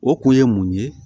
O kun ye mun ye